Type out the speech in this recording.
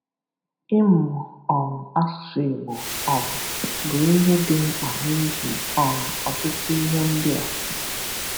Ịmụ um asụsụ́ Ìgbò um bụ ihe dị mkpa n’ihi um ọtụtụ ihe ndị a: